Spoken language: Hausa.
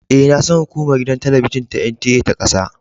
E, na san hukumar gidan talabijin ta NTA ta kasa.